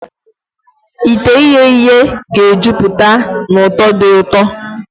Ite ihee ihe ga-ejupụta na ụtọ dị ụtọ.